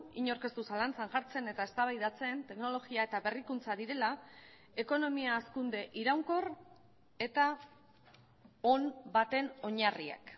inork ez du zalantzan jartzen eta eztabaidatzen teknologia eta berrikuntza direla ekonomia hazkunde iraunkor eta on baten oinarriak